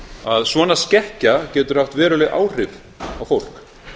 að svona skekkja getur haft veruleg áhrif á fólk